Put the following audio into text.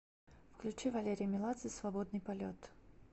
включи валерий меладзе свободный полет